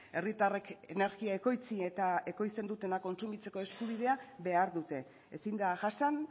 herritarrek energia ekoitzi eta ekoizten dutena kontsumitzeko eskubidea behar dute ezin da jasan